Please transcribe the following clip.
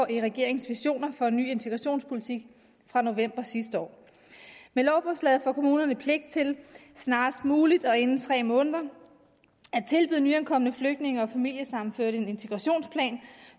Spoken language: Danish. i regeringens visioner for en ny integrationspolitik fra november sidste år med lovforslaget får kommunerne pligt til snarest muligt og inden tre måneder at tilbyde nyankomne flygtninge og familiesammenførte en integrationsplan